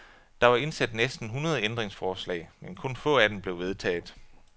Der var indsendt næsten hundrede ændringsforslag, men kun få af dem blev vedtaget.